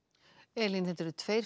Elín tveir